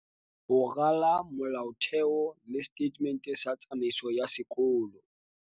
Ho rala molaotheo le setatemente sa tsamaiso ya sekolo.